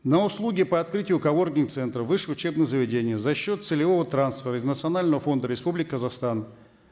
на услуги по открытию коворкинг центров в высших учебных заведениях за счет целевого трансфера из национального фонда республики казахстан